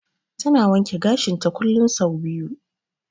Ta na wanke gashinta kullum sau biyu.